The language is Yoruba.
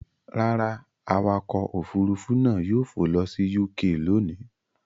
Rárá, awakọ̀ òfurufú náà yóò fò lọ sí UK lónìí.